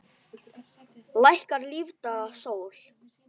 Lækkar lífdaga sól.